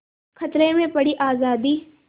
खतरे में पड़ी आज़ादी